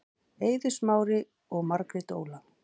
Eiður Smári og Margrét Óla